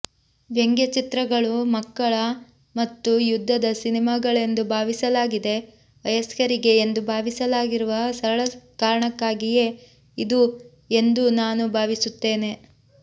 ವ್ಯಂಗ್ಯಚಿತ್ರಗಳು ಮಕ್ಕಳ ಮತ್ತು ಯುದ್ಧದ ಸಿನೆಮಾಗಳೆಂದು ಭಾವಿಸಲಾಗಿದೆ ವಯಸ್ಕರಿಗೆ ಎಂದು ಭಾವಿಸಲಾಗಿರುವ ಸರಳ ಕಾರಣಕ್ಕಾಗಿಯೇ ಇದು ಎಂದು ನಾನು ಭಾವಿಸುತ್ತೇನೆ